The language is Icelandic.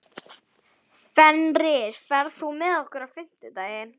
Fenrir, ferð þú með okkur á fimmtudaginn?